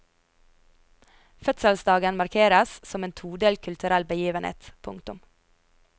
Fødselsdagen markeres som en todelt kulturell begivenhet. punktum